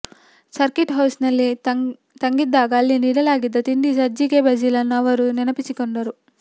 circuit house ನಲ್ಲಿ ತಂಗಿದ್ದಾಗ ಅಲ್ಲಿ ನೀಡಲಾಗಿದ್ದ ತಿಂಡಿ ಸಜ್ಜಿಗೆ ಬಜಿಲ್ ನ್ನು ಅವರು ನೆನಪಿಸಿಕೊಂಡರು